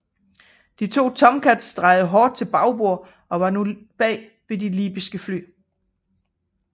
De to Tomcats drejede hård til bagbord og var nu bag de libyske fly